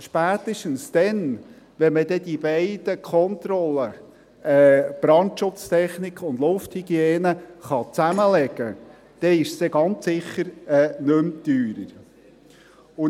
Spätestens dann, wenn man die beiden Kontrollen – Brandschutztechnik und Lufthygiene – zusammenlegen kann, ist es dann ganz sicher nicht mehr teurer.